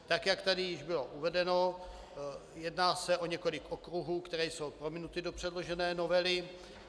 Tak jak tady již bylo uvedeno, jedná se o několik okruhů, které jsou promítnuty do předložené novely.